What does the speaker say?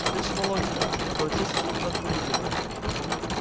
слышишь володька обратился депутат к водителю